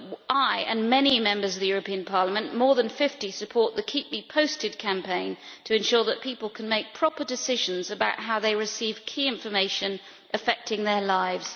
I and many Members of the European Parliament more than 50 also support the Keep Me Posted campaign to ensure that people can make proper decisions about how they receive key information affecting their lives.